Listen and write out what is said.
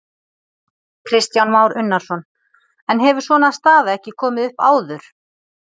Kristján Már Unnarsson: En hefur svona staða ekki komið upp áður?